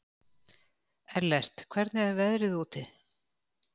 Ellert, hvernig er veðrið úti?